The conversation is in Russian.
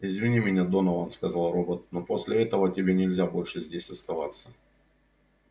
извини меня донован сказал робот но после этого тебе нельзя больше здесь оставаться